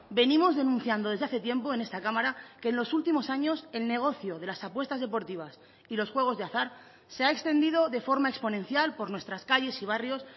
venimos denunciando desde hace tiempo en esta cámara que en los últimos años el negocio de las apuestas deportivas y los juegos de azar se ha extendido de forma exponencial por nuestras calles y barrios